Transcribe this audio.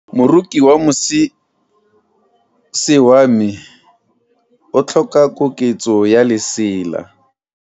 Moroki wa mosese wa me o tlhoka koketso ya lesela.